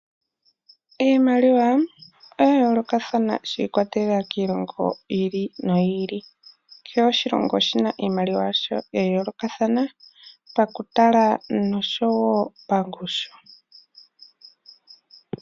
Iimaliwa oya yoolokathana shi ikwatelela kiilongo yi ili noyi ili. Kehe oshilongo oshina iimaliwa yasho ya yoolokathana pakutala noshowo pangushu.